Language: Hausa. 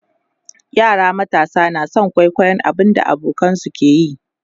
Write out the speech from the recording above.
yara matasa na San kwaikwayon abun da abokanansu ke yi